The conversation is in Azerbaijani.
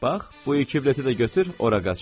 Bax, bu iki bileti də götür, ora qaç.